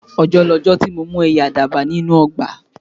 Ọjọ́ lọjọ́ ti mo mú ẹyẹ àdàbà ní inú ọgbà